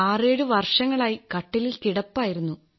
ആറേഴു വർഷങ്ങളായി കട്ടിലിൽ കിടപ്പായിരുന്നു